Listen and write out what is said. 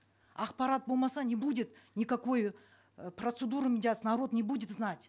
ақпарат болмаса не будет никакой э процедуры медиации народ не будет знать